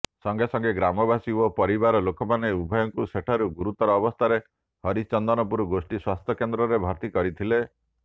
ସଙ୍ଗେସଙ୍ଗେ ଗ୍ରାମବାସୀ ଓ ପରିବାର ଲୋକମାନେ ଉଭୟଙ୍କୁ ସେଠାରୁ ଗୁରୁତର ଅବସ୍ଥାରେ ହରିଚନ୍ଦନପୁର ଗୋଷ୍ଠୀ ସ୍ୱାସ୍ଥ୍ୟକେନ୍ଦ୍ରରେ ଭର୍ତ୍ତି କରିଥିଲେ